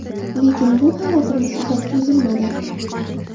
Lekin bu xavotirimiz uzoq cho‘zilmadi.